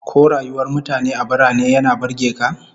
Ko rayuwar mutane a birane yana burge ka?